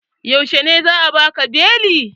Yaushe za'a baka beli?